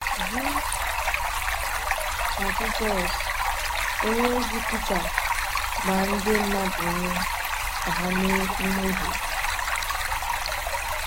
Dị ka Jisọs, onyeozi Pita gbaa ndị mmadụ ume ka ha mee mmehie.